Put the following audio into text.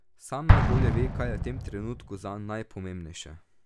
Sam najbolje ve, kaj je v tem trenutku zanj najpomembnejše.